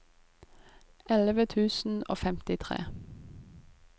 elleve tusen og femtitre